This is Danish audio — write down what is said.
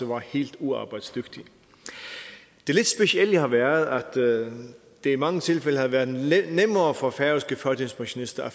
var helt uarbejdsdygtige det lidt specielle har været at det i mange tilfælde havde været nemmere for færøske førtidspensionister at